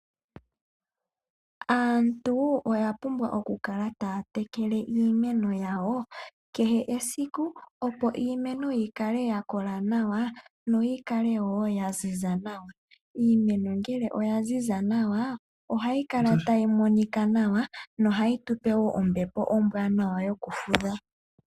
Aantu oya pumbwa oku kala taya tekele iimeno yawo kehe esiku opo iimeno yikale yakola nawa yo yi kale wo ya ziza nawa. Iimeno ngele oyaziza ohayi kala tayi monika nawa ohayi tupe wo ombepo ombwaanawa yokufutha.